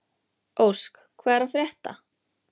Ósk, hvað er að frétta?